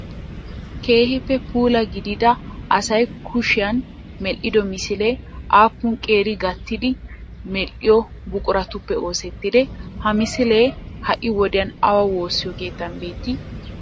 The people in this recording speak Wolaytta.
Keehiippe puula gidida asay kushiyaan medhdhido misilee aapuun qeeri gattidi medhdhiyo buquratuppe oosetidee? Ha misilee ha'i wodiyaan awa woosiyo keettan beettii?